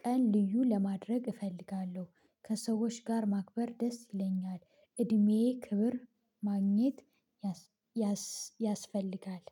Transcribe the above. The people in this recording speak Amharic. ቀን ልዩ ለማድረግ እፈልጋለሁ። ከሰዎች ጋር ማክበር ደስ ይለኛል። እድሜዬ ክብር ማግኘት ያስፈልጋል